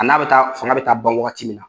A n'a bɛ taa fanga bɛ taa ban wagati min na.